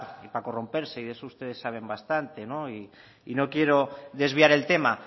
y para corromperse y de eso ustedes saben bastante y no quiero desviar el tema